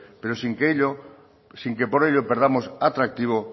pero sin que por ello perdamos atractivo